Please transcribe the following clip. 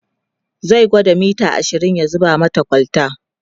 zai gwada mita ashirin ya zuba mata kwalta